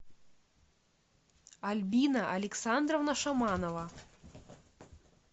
альбина александровна шаманова